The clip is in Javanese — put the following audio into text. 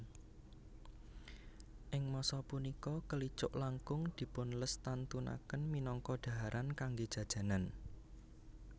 Ing masa sapunika kelicuk langkung dipunlestantunaken minangka dhaharan kanggé jajanan